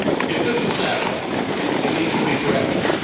If this was an error, it needs to be corrected.